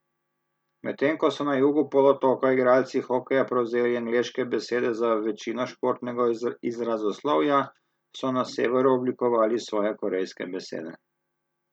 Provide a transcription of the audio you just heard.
Medtem ko so na jugu polotoka igralci hokeja prevzeli angleške besede za večino športnega izrazoslovja, so na severu oblikovali svoje korejske besede.